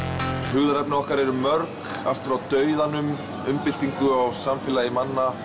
hugðarefni okkar eru mörg allt frá dauðanum umbyltingu á samfélagi manna